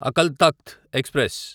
Akal Takht express